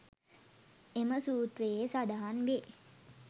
එම සූත්‍රයේ සඳහන් වේ.